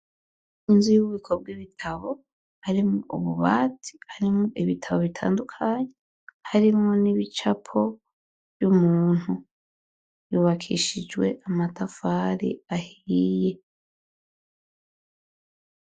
Inzu y'we bikobw' ibitabo harimwo ububati arimwo ibitabo bitandukanyi harimwo n'ibicapo vy'umuntu yubakishijwe amatafari ahiiye.